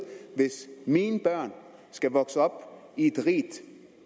hvis mine børn skal vokse op i et rigt